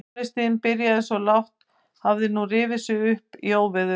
Tónlistin sem byrjaði svo lágt hafði nú rifið sig upp í óveður.